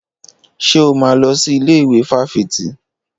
Ṣé o máa lọ sí ilé ìwé fáfitì?